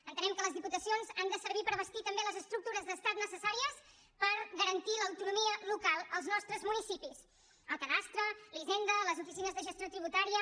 entenem que les diputacions han de servir també per bastir també les estructures d’estat necessàries per garantir l’autonomia local als nostres municipis el cadastre la hisenda les oficines de gestió tributària